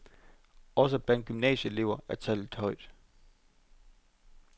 Også blandt gymnasieelever er tallet højt.